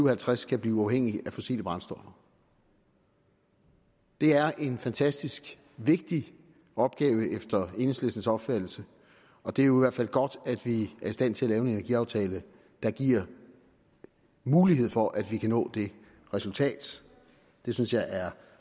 og halvtreds kan blive uafhængige af fossile brændstoffer det er en fantastisk vigtig opgave efter enhedslistens opfattelse og det er jo i hvert fald godt at vi er i stand til at lave en energiaftale der giver mulighed for at vi kan nå det resultat det synes jeg er